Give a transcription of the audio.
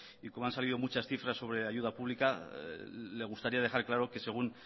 y como han salido muchas cifras sobre ayuda pública le gustaría dejar claro que según